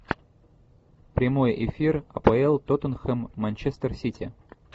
прямой эфир апл тоттенхэм манчестер сити